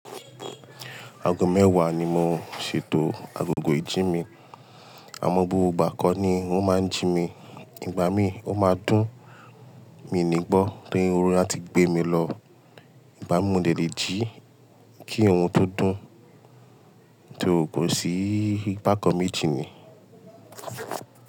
Aago mẹ́wàá ni mo ṣètò agogo ìjí mi. Àmọ́ bó bá kọ́ ni wọ́n máa ń jí mi, ìgbà mí ó máa dún, mi nígbọ́ torí oorun yen áti gbé mi lọ. Ìgbà mi mo dẹ̀le jí kí irun tó dún tó, kò sí bákan meji nì.